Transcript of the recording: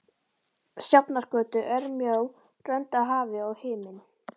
Sjafnargötu, örmjó rönd af hafi og himinn.